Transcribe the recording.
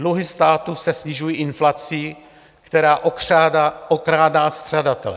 Dluhy státu se snižují inflací, která okrádá střadatele.